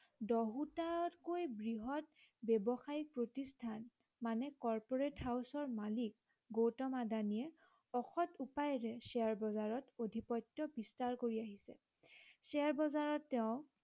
দহোটাকৈ বৃহৎ ব্য়ৱসায়িক প্ৰতিষ্ঠান মানে corporate house ৰ মালিক গৌতম আদানীয়ে অসৎ উপায়েৰে শ্বেয়াৰ বজাৰত অধিপত্য় বিস্তাৰ কৰি আহিছে শ্বেয়াৰ বজাৰত তেওঁ